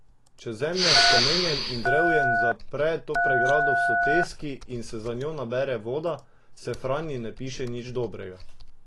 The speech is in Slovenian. Če zemlja s kamenjem in drevjem zapre to pregrado v soteski in se za njo nabere voda, se Franji ne piše nič dobrega.